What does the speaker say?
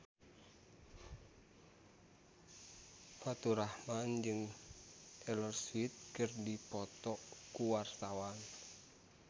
Faturrahman jeung Taylor Swift keur dipoto ku wartawan